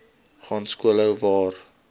gaan skoolhou waar